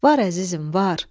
Var əzizim, var.